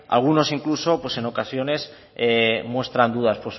algunos incluso en ocasiones muestran dudas